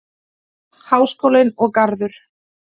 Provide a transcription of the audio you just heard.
Háskólinn og Garður.